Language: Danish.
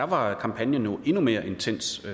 var kampagnen jo endnu mere intens